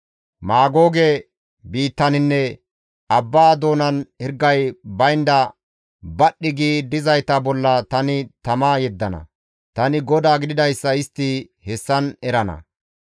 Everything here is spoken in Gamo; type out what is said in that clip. Maagooge biittaninne abba doonan hirgay baynda badhdhi gi dizayta bolla tani tama yeddana. Tani GODAA gididayssa istti hessan erana.